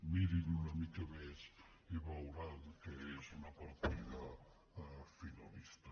mirin una mica més i veuran que és una partida finalista